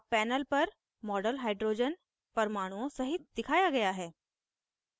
अब panel पर model hydrogen परमाणुओं सहित दिखाया गया है